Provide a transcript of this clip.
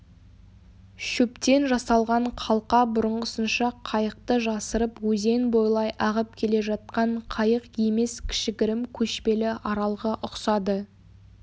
шөптен жасалған қалқа бұрынғысынша қайықты жасырып өзен бойлай ағып келе жатқан қайық емес кішігірім көшпелі аралға ұқсады